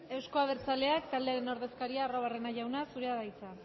arruabarrena jauna zurea da hitza